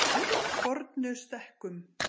Fornustekkum